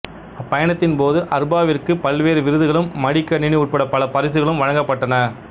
அப்பயணத்தின் போது அர்பாவிற்கு பல்வேறு விருதுகளும் மடிகணனி உட்பட பல பரிசுகளும் வழங்கப்பட்டன